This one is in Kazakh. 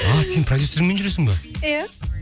сен продюсеріңмен жүресің бе иә